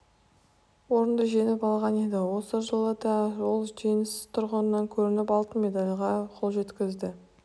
орынды жеңіп алған еді осы жылы да ол жеңіс тұғырынан көрініп алтын медальге қол жеткізді